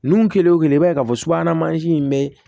Nun kelen o kelen i b'a ye k'a fɔ subahana mansin in be